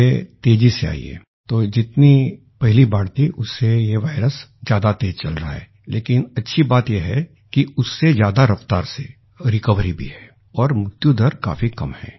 ये तेजी से आई है तो जितनी पहली बाढ़ वेव थी उससे ये वायरस ज्यादा तेज चल रहा है लेकिन अच्छी बात ये है कि उससे ज्यादा रफ़्तार से रिकवरी भी है और मृत्यु दर काफी कम हैं